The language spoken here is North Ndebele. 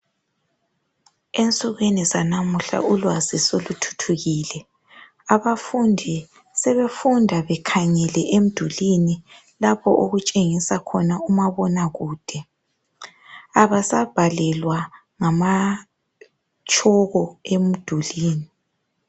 ensukwini zanamuhla ulwazi soluthuthukile abafundi sebefunda bekhangele emdulini lapho okutshengisa khona umabona kude abasabhalelwa ngatshoko emdulini